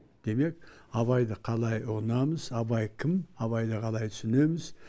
демек абайды қалай ұғынамыз абай кім абайды қалай түсінеміз